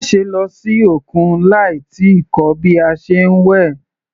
Má ṣe lọ sí òkun láì tíì kọ́ bí a ṣe ń wẹ̀.